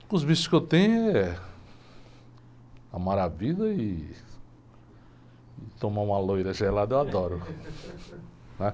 Os vícios que eu tenho é amar a vida ih, tomar uma loira gelada, eu adoro, né?